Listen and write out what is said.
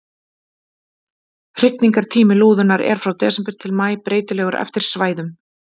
Hrygningartími lúðunnar er frá desember til maí, breytilegur eftir svæðum.